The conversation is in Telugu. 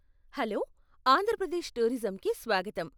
హలో, ఆంధ్ర ప్రదేశ్ టూరిజంకి స్వాగతం.